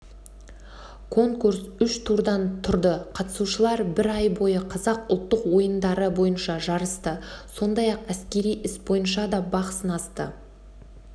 конкурс үш турдан тұрды қатысушылар бір ай бойы қазақ ұлттық ойындары бойынша жарысты сондай-ақ әскери іс бойынша да бақ сынасты